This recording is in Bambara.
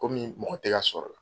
Komi mɔgɔ tɛ ka sɔrɔla